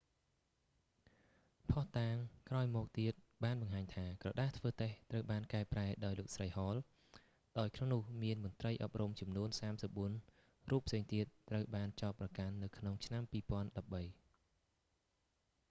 ភស្តុតាងក្រោយមកទៀតបានបង្ហាញថា ក្រដាសធ្វើតេស្ត ត្រូវបានកែប្រែដោយលោកស្រី ហល hall ដោយក្នុងនោះមានមន្រ្តីអប់រំចំនួន 34 រូបផ្សេងទៀតត្រូវបានចោទប្រកាន់នៅក្នុងឆ្នាំ2013